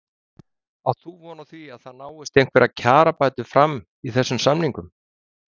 Heimir: Átt þú von á því að það náist einhverjar kjarabætur fram í þessum samningum?